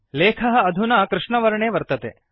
लेखः अधुना कृष्णवर्णे वर्तते